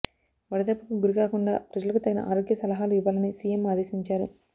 వడదెబ్బకు గురికాకుండా ప్రజలకు తగిన ఆరోగ్య సలహాలు ఇవ్వాలని సిఎం ఆదేశించారు